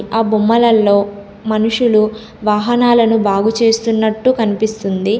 ఆ బొమ్మలల్లో మనుషులు వాహనాలను బాగు చేస్తున్నట్టు కనిపిస్తుంది.